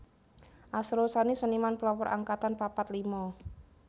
Asrul Sani Seniman Pelopor Angkatan papat lima